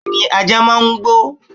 Bẹẹni ajá máa ń gbó.